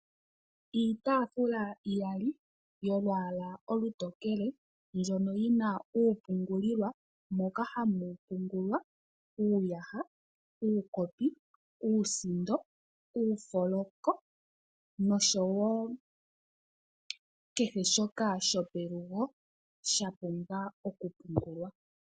Iitaafula iyali yolwaala olutokele mbyoka yi na uula moka hamu pungulwa uuyaha, uukopi, uusindo, uufoloko noshowo kehe shoka shopelugo sha pumbwa okupungulwa.